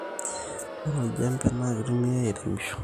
Ore oljembe na kitumiai airemishore